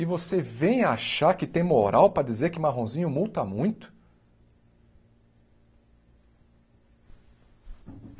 e você vem achar que tem moral para dizer que Marronzinho multa muito?